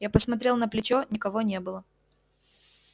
я посмотрел на плечо никого не было